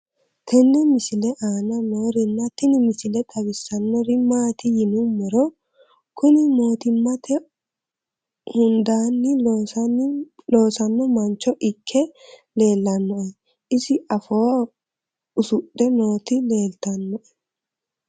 tenne misile aana noorina tini misile xawissannori maati yinummoro kuni mootimmate hundaanni losanno mancho ikke leellannoe isi afoo usudhe nooti leeltanno